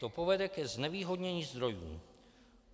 To povede ke znevýhodnění zdrojů.